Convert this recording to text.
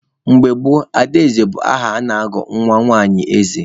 Mgbe gboo, Adaeze bụ aha a na-agụ nwa nwanyi eze.